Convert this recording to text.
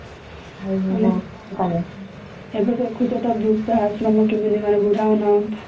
ଏବେ ଦେଖୁଛ ତ କେମିତି ମାନେ ବୃଦ୍ଧ ଆଶ୍ରମ ରେ କେମିତି ମାନେ ବୁଦ୍ଧା ମାନଙ୍କୁ